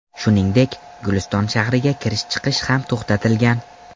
Shuningdek, Guliston shahriga kirish-chiqish ham to‘xtatilgan .